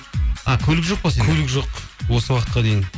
а көлік жоқ па көлік жоқ осы уақытқа дейін